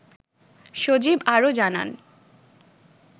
সজীব আরও জানান